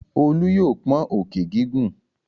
Olú yóò pọ́n òkè gígùn.